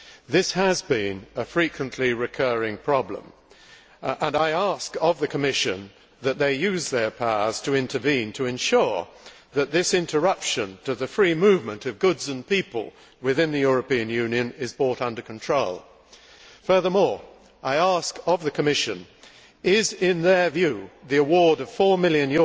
This has been a frequently recurring problem, and I ask of the Commission that they use their powers to intervene to ensure that this interruption to the free movement of goods and people within the European Union is brought under control. Furthermore, I ask of the Commission is, in their view, the award of EUR 4 million